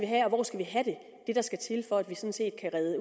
have og hvor skal vi have det der skal til